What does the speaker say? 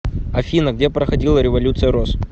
афина где проходила революция роз